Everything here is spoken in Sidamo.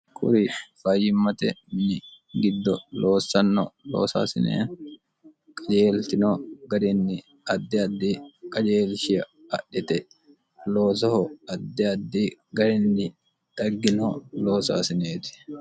kuri fayyimmate mini giddo loossanno loosaasinee qajeeltino garinni addi addi qajeelshia adhite loosoho addi addi garinni daggino loosaasineeti